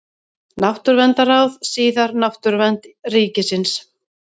Náttúruverndarráð, síðar Náttúruvernd ríkisins.